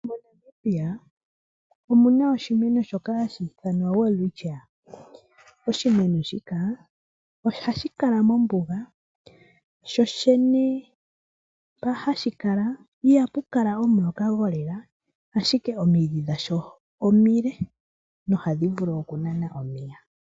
Mo Namibia omuna oshimeno shoka hashi ithanwa Welwitchia. Oshimeno shika ohashi kala mombuga . Sho shene mpa hashi kala ihapu kala omuloka golela ashike omidhi dhasho omile nohadhi vulu okunana omeya.